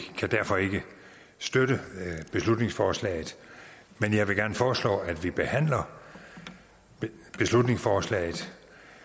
kan derfor ikke støtte beslutningsforslaget men jeg vil gerne foreslå at man behandler beslutningsforslaget